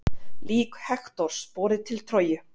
Lík Hektors borið til Tróju.